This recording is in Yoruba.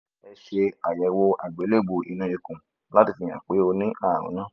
ẹ ṣe àyẹ̀wò àgbélébùú inú ikun láti fi hàn pé ó ní àrùn náà